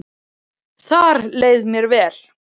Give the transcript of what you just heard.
Þar leið mér vel